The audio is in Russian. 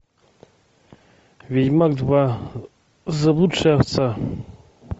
ведьмак два заблудшая овца